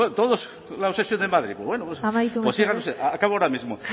bueno la obsesión en madrid pues bueno pues sigan ustedes acabo ahora mismo